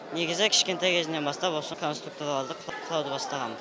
негізі кішкентай кезімнен бастап осы конструкторларды құрауды бастағам